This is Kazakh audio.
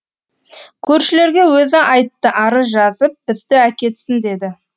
көршілерге өзі айтты арыз жазып бізді әкетсін деді